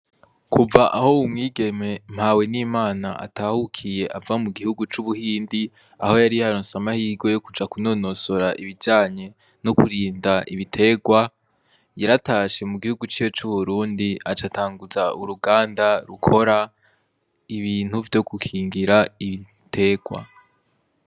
Kuva aho wumwigeme mpawe n'imana atahukiye ava mu gihugu c'ubuhindi aho yari yarose amahirwe yo kuja kunonosora ibijanye no kurinda ibiterwa, yaratashe mu gihugu ciwe c'uburundi aca atanguza uruganda rukora ibintu vyo gukingira ibiterwa.